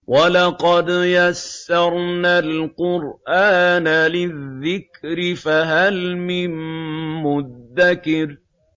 وَلَقَدْ يَسَّرْنَا الْقُرْآنَ لِلذِّكْرِ فَهَلْ مِن مُّدَّكِرٍ